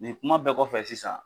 Nin kuma bɛɛ kɔfɛ sisan